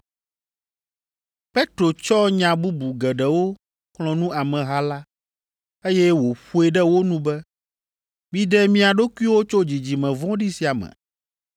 Petro tsɔ nya bubu geɖewo xlɔ̃ nu ameha la, eye wòƒoe ɖe wo nu be, “Miɖe mia ɖokuiwo tso dzidzime vɔ̃ɖi sia me.”